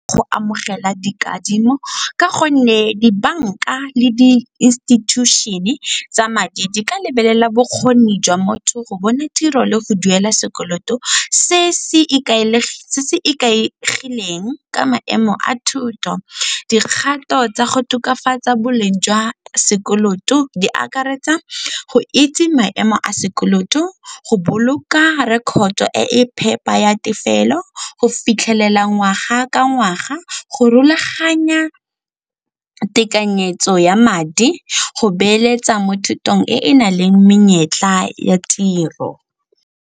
Go amogela dikadimo ka gonne dibanka le di-institution-e tsa madi di ka lebelela bokgoni jwa motho go bona tiro le go duela sekoloto se se ikaegileng ka maemo a thuto. Dikgato tsa go tokafatsa boleng jwa sekoloto di akaretsa go itse maemo a sekoloto, go boloka record-to e e phepa ya tefelo go fitlhelela ngwaga ka ngwaga, go rulaganya tekanyetso ya madi, go beeletsa mo thutong e e nang le menyetla ya tiro.